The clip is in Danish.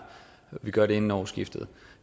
vi gør det inden årsskiftet